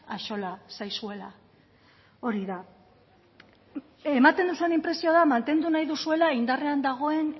axola zaizuela hori da ematen duzuen inpresioa da mantendu nahi duzuela indarrean dagoen